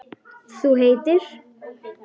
Þú heitir?